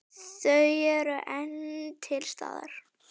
Þau eru enn til staðar.